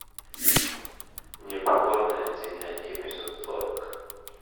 непокорная земля эпизод сорок